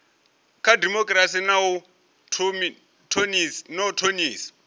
kha dimokirasi na u thonifha